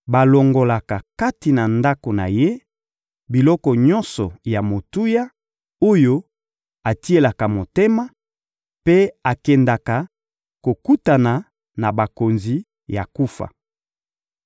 Balongolaka kati na ndako na ye biloko nyonso ya motuya, oyo atielaka motema, mpe akendaka kokutana na bakonzi ya kufa.